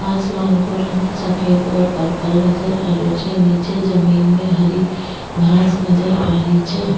आसमान को रंग सफ़ेद और पर्पल नजर आ रहो छे निचे जमीन में हरी घास नजर आ री छे।